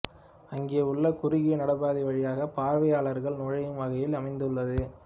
அங்கே உள்ள குறுகிய நடைபாதை வழியாக பார்வையாளர்கள் நுழையும் வகையில் அமைந்துள்ளது